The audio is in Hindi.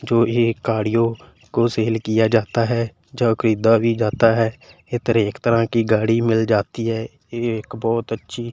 जो ये गाड़ियों को सेल किया जाता है जो खरीदा भी जाता है इधर एक तरह की गाड़ी मिल जाती है एक बहोत अच्छी--